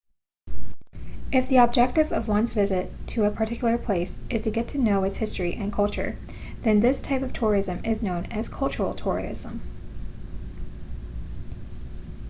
if the objective of one's visit to a particular place is to get to know its history and culture then this type of tourism is known as cultural tourism